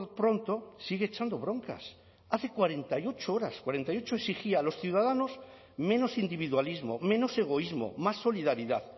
pronto sigue echando broncas hace cuarenta y ocho horas cuarenta y ocho exigía a los ciudadanos menos individualismo menos egoísmo más solidaridad